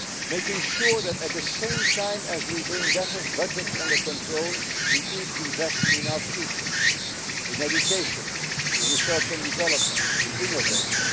Making sure that, at the same time as we bring budgets under control, we keep investing in our future, in education, in research and development, in innovation.